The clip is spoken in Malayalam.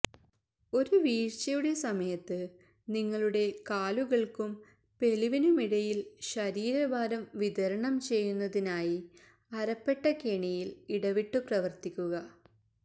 ഒരു വീഴ്ചയുടെ സമയത്ത് നിങ്ങളുടെ കാലുകൾക്കും പെലിവിനുമിടയിൽ ശരീരഭാരം വിതരണം ചെയ്യുന്നതിനായി അരപ്പട്ട കെണിയിൽ ഇടവിട്ടു പ്രവർത്തിക്കുക